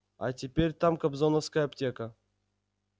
а теперь там кобзоновская аптека